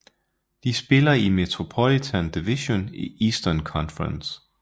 De spiller i Metropolitan Division i Eastern Conference